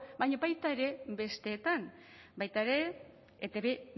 baina baita ere besteetan baita ere etb